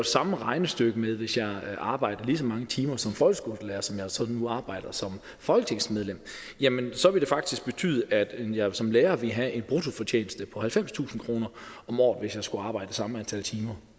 samme regnestykke med hvis jeg arbejdede lige så mange timer som folkeskolelærer som jeg så nu arbejder som folketingsmedlem jamen så ville det faktisk betyde at jeg som lærer ville have en bruttofortjeneste på halvfemstusind kroner om året hvis jeg skulle arbejde det samme antal timer